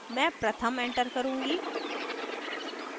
मैं pratham enter करुँगी